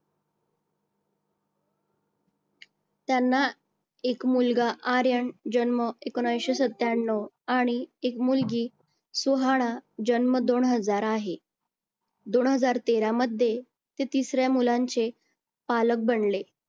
त्यांना एक मुलगा आर्यन जन्म एकोणविशे सत्त्याण्णव आणि एक मुलगी सुहाना जन्म दोन हजार आहे. दोन हजार तेरा मध्ये ते तिसऱ्या मुलाचे पालक बनले.